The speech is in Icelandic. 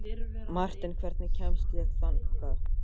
Marten, hvernig kemst ég þangað?